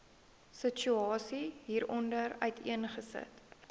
situasie hieronder uiteengesit